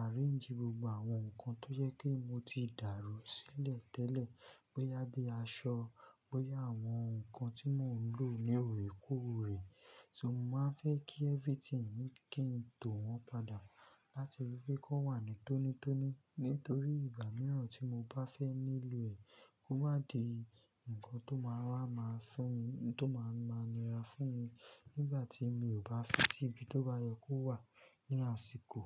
arrange gbogbo àwọn nǹkan tó je pe mo ti dàrú sílẹ̀ tẹ́lẹ̀. Bóyá bí aṣọ, bóyá àwọn nǹkan tí mò ń lò ní òrèkúròrè. So mo máa fẹ́ kí everything kí ń to wọ́n padà láti ríi wí pé kó wà nítónítóní nítorí ìgbà mìíràn tí mo bá fẹ́ nílò ẹ̀ kó má di nǹkan tó máa wa ni ra fún mi nígbà tí mi ò bá fi sí ibi tó bá yẹ kó wà ní àsìkò.